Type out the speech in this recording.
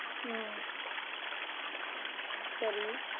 உம் சரி